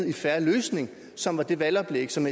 en fair løsning som var det valgoplæg som